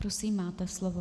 Prosím, máte slovo.